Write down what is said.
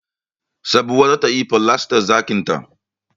Sabuwa za ta yi falastan ɗakinta